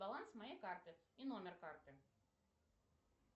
баланс моей карты и номер карты